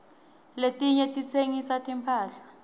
letinye titsengisa timphahla